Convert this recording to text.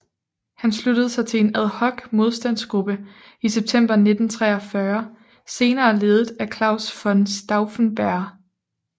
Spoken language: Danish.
Han sluttede sig til en ad hoc modstandsgruppe i september 1943 senere ledet af Claus von Stauffenberg